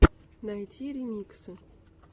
найти ремиксы